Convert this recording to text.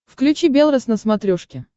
включи белрос на смотрешке